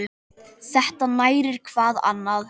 Þetta nærir hvað annað.